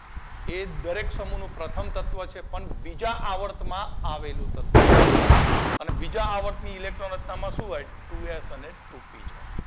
એ દરેક સમૂહ નું પ્રથમ તત્વ છે પણ બીજા આવર્ત માં આવેલું તત્વ છે અને બીજા આવર્તની ઇલેક્ટ્રોન રચના માં શું હોય Two S અને Two P zone